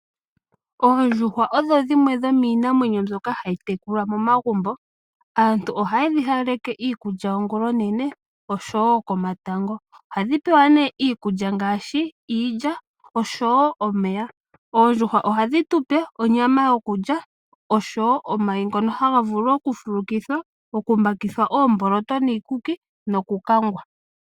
Oondjuhwa odho dhimwe dhomiinamwenyo mbyoka hayi tekulwa momagumbo aantu ohayedhi hawaleke iikulya ongula onene osho woo komatango. Ohadhi pewa nee iikulya ngaashi iilya osho woo omeya. Oondjuhwa ohadhi tupe onyama yokulya osho woo omayi ngoka haga vulu okufulukithwa, okumbakithwa oomboloto niikuki nokukangwa.